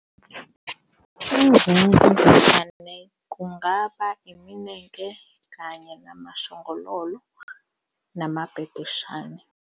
Izimvemvane kungaba iminenke kanye namashongololo namabhebheshane.